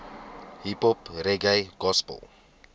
hiphop reggae gospel